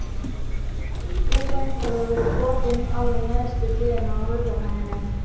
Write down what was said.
Rúðan hefur verið brotin alveg neðst við hliðina á hurðarhúninum.